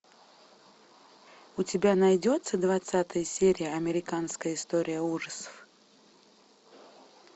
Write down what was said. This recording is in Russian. у тебя найдется двадцатая серия американская история ужасов